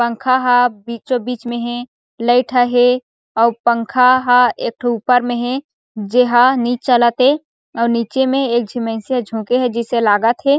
पंखा ह बीचो बीच में हे लाइट ह हे अउ पंखा ह एक ठो ऊपर में हे जेहा नि चलत हे अउ निचे में एकझी मइनसे झोखे हे जिसे लागत हे।